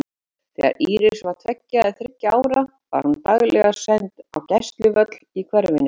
Þegar Íris var tveggja eða þriggja ára var hún daglega send á gæsluvöll í hverfinu.